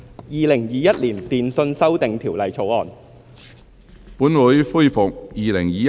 《2021年電訊條例草案》。